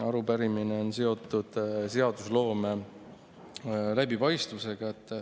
Arupärimine on seotud seadusloome läbipaistvusega.